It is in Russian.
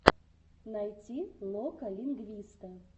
найти лока лингвиста